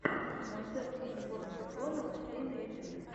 концерт информбюро новостей на ютюбе